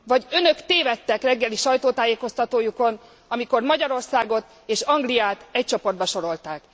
Vagy Önök tévedtek reggeli sajtótájékoztatójukon, amikor Magyarországot és Angliát egy csoportba sorolták.